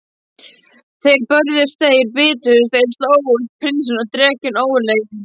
Þeir börðust, þeir bitust, þeir slógust, prinsinn og drekinn ógurlegi.